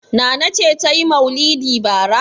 Nana ce ta yi maulidi bara.